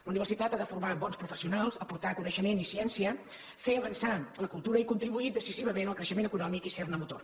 la universitat ha de formar bons professionals aportar coneixement i ciència fer avançar la cultura i contribuir decisivament al creixe·ment econòmic i ser·ne motor